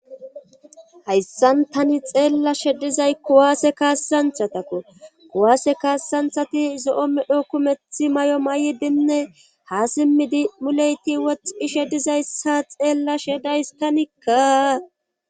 hayssan tani xeella shedizay kuwaase kaassanthatakko kuwaase kaassanthati zo7o medho kumethi may7o may7idinne ha simmidi muleyti woxtxishe dizayssa xeella shedays tanikka